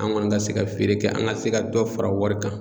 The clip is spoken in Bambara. An kɔni ka se ka feere kɛ an ka se ka dɔ fara wari kan.